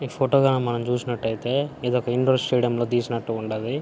ఈ ఫోటో గనక మనం చుసినట్టయితే ఇదొక ఇన్డోర్ స్టేడియం లో తీసినట్టు ఉండాది.